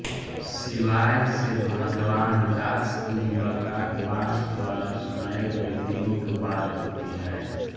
शिवाय से भगवान दास की मुलाकात बॉस द्वारा सुनाए गए तानों के बाद होती है